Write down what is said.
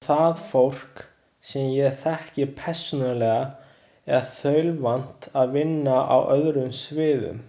Og það fólk, sem ég þekki persónulega, er þaulvant að vinna á öðrum sviðum.